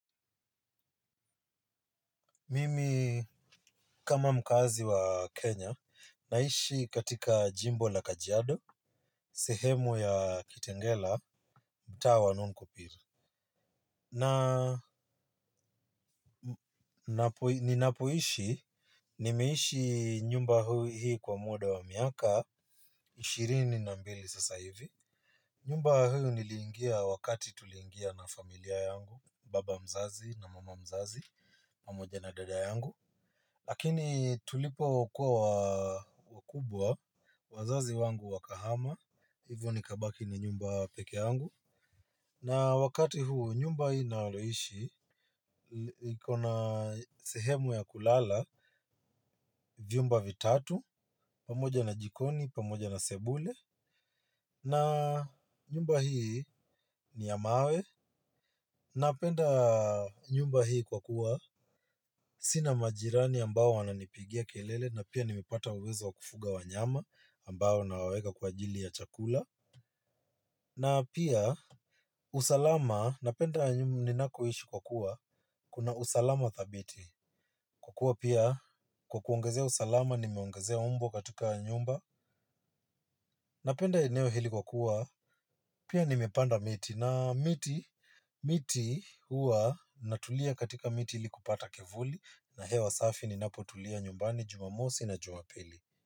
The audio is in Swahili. Mimi kama mkazi wa Kenya, naishi katika jimbo la kajiado, sehemu ya kitengela, mtaa wa non kupira. Na, ninapoishi, nimeishi nyumba hii kwa muda wa miaka, ishirini na mbili sasa hivi. Nyumba huu niliingia wakati tuliingia na familia yangu, baba mzazi na mama mzazi, pamoja na dada yangu. Lakini tulipo kuwa wakubwa, wazazi wangu wakahama, hivyo nikabaki na nyumba pekee yangu. Na wakati huu nyumba hii naloishi, ikona sehemu ya kulala, vyumba vitatu, pamoja na jikoni, pamoja na sebule. Na nyumba hii ni ya mawe, napenda nyumba hii kwa kuwa sina majirani ambao wananipigia kelele na pia nimepata uwezo wa kufuga wanyama ambao nawaweka kwa ajili ya chakula. Na pia usalama napenda ninakoishi kwa kuwa kuna usalama dhabiti. Kwa kuwa pia kwa kuongezea usalama nimeongezea mbwa katika nyumba. Napenda eneo hili kwa kuwa pia nimepanda miti na miti. Miti huwa natulia katika miti ili kupata kivuli na hewa safi ninapo tulia nyumbani jumamosi na jumapili.